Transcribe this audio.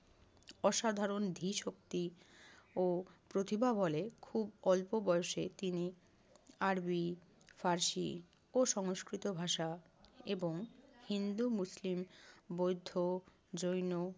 অসাধারণ ধী শক্তি ও প্রতিভা বলে খুব অল্প বয়সে তিনি আরবি, ফারসি ও সংস্কৃত ভাষা এবং হিন্দু, মুসলিম, বৌদ্ধ, জৈন